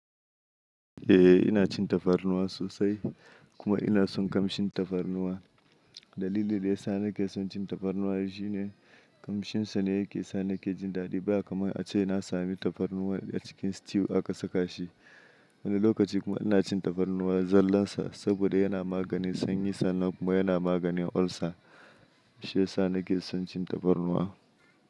Eh ina cin tafarnuwa sosai kuma ina son kamshin tafarnuwa. Dalilin da ya sa na ke son cin tafarnuwa shine kamshin sa ne yake sa na ke jin daɗi ba kamar ace na sami tafarnuwa a cikin stew aka saka shi. Wani lokaci kuma ina cin tafarnuwa zallansa saboda yana maganin sanyi sannan kuma yana maganin ulcer. Shi ya sa na ke son cin tafarnuwa.